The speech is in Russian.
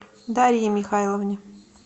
дарье михайловне